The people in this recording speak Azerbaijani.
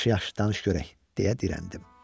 Yaxşı, yaxşı, danış görək, - deyə dirəndim.